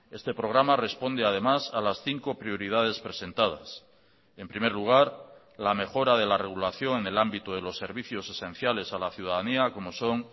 este programa responde además a las cinco prioridades presentadas en primer lugar la mejora de la regulación en el ámbito de los servicios esenciales a la ciudadanía como son